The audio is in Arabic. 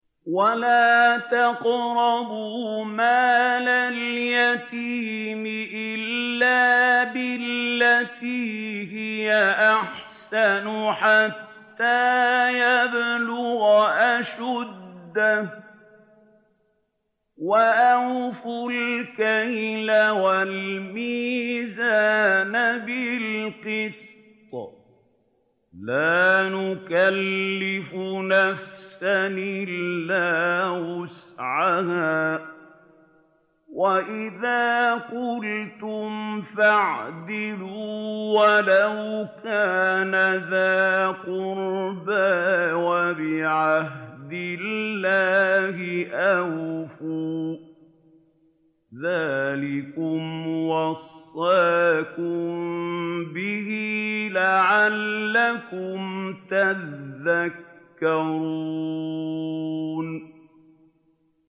وَلَا تَقْرَبُوا مَالَ الْيَتِيمِ إِلَّا بِالَّتِي هِيَ أَحْسَنُ حَتَّىٰ يَبْلُغَ أَشُدَّهُ ۖ وَأَوْفُوا الْكَيْلَ وَالْمِيزَانَ بِالْقِسْطِ ۖ لَا نُكَلِّفُ نَفْسًا إِلَّا وُسْعَهَا ۖ وَإِذَا قُلْتُمْ فَاعْدِلُوا وَلَوْ كَانَ ذَا قُرْبَىٰ ۖ وَبِعَهْدِ اللَّهِ أَوْفُوا ۚ ذَٰلِكُمْ وَصَّاكُم بِهِ لَعَلَّكُمْ تَذَكَّرُونَ